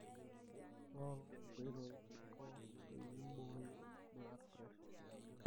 ingoru inkoitoi ningoo piboyo blood pressure ino.